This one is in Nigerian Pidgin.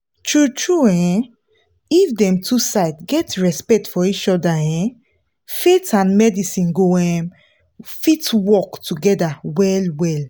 true true eh um if dem two side get respect for each other um faith and medicine go um fit work together well well